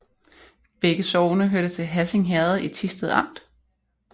Begge sogne hørte til Hassing Herred i Thisted Amt